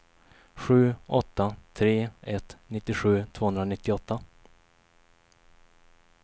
sju åtta tre ett nittiosju tvåhundranittioåtta